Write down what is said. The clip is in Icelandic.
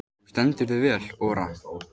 Þú stendur þig vel, Ora!